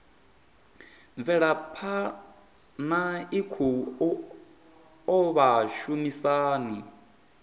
mvelaphana i khou oa vhashumisani